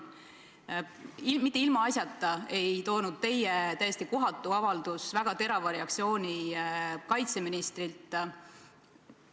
Mitte ilmaasjata ei toonud teie täiesti kohatu avaldus kaasa väga terava reaktsiooni kaitseministrilt.